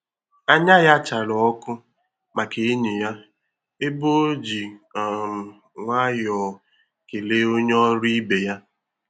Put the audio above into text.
Anya ya chárá ọkụ maka enyi ya, ebe o ji um nwayọọ kelee onye ọrụ ibe ya.